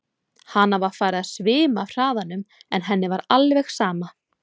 Hana var farið að svima af hraðanum en henni var alveg sama.